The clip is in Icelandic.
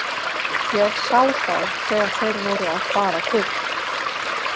Ég sá þá þegar þeir voru að fara burt.